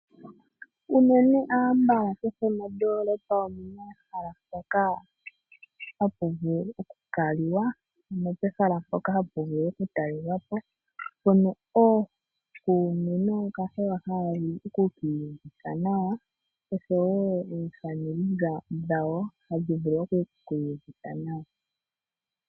Unene ambala kehe mondoolopa omuna ehala ndoka hapu vulu oku kaliwa ano pehala mpoka hapu vulu oku talelwapo. Mpono ookuume noo kahewa ha yeya oku ki iyuvitha oshowo aakwanezimo yawo haya vulu oku ki iyuvitha nawa.